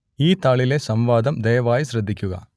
ഈ താളിലെ സംവാദം ദയവായി ശ്രദ്ധിക്കുക